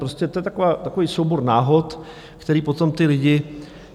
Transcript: Prostě to je takový soubor náhod, který potom ty lidi...